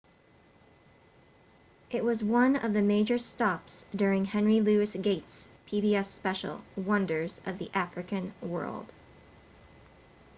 it was one of the major stops during henry louis gates' pbs special wonders of the african world